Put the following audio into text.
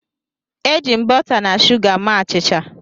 Eji m bọta na shuga mee achịcha.